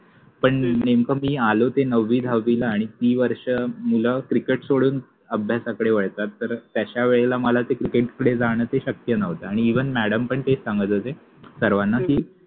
पण नेमक मि आलो ते नववि दहाविला आणी ति वर्ष मुल क्रिकेट सोडून अभ्यासाकडे वळतात तर तश्या वेळेला मला त्या क्रिकेट कडे जाण ते शक्य नवत आणि इवन मॅडम पन तेच सांगत होते सर्वाना कि